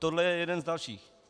Tohle je jeden z dalších.